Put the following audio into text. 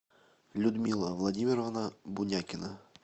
людмила владимировна бунякина